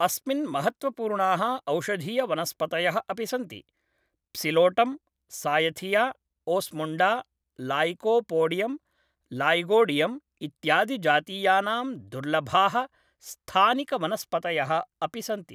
अस्मिन् महत्त्वपूर्णाः औषधीयवनस्पतयः अपि सन्ति, Psilotum, Cyathea, Osmunda, Lycopodium, Lygodium इत्यादिजातीयानां दुर्लभाः स्थानिकवनस्पतयः अपि सन्ति ।